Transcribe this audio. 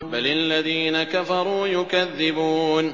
بَلِ الَّذِينَ كَفَرُوا يُكَذِّبُونَ